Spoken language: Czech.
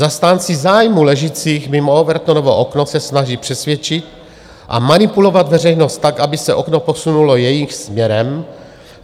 Zastánci zájmů ležících mimo Overtonovo okno se snaží přesvědčit a manipulovat veřejnost tak, aby se okno posunulo jejich směrem.